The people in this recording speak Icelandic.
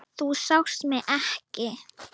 Þú sást mig ekki.